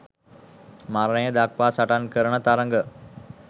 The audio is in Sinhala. මරණය දක්වා සටන් කරන තරග